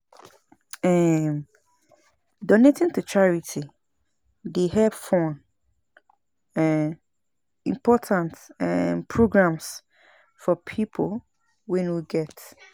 um Donating to charity dey help fund um important um programs for pipo wey no get.